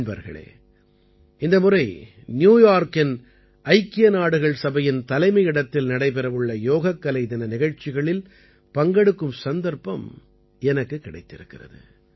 நண்பர்களே இந்த முறை ந்யூ யார்க்கின் ஐக்கிய நாடுகள் சபையின் தலைமையிடத்தில் நடைபெறவுள்ள யோகக்கலை தின நிகழ்ச்சிகளில் பங்கெடுக்கும் சந்தர்ப்பம் எனக்குக் கிடைத்திருக்கிறது